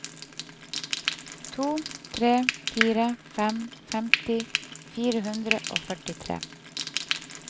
to tre fire fem femti fire hundre og førtitre